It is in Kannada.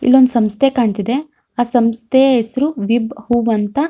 ಇಲ್ಲಿ ಒಂದ ಸಂಸ್ಥೆ ಕಾಣತ್ತಿದೆ ಆ ಸಂಸ್ಥೆ ಹೆಸ್ರು ವಿಬ್ ಹುಬ್ ಅಂತ.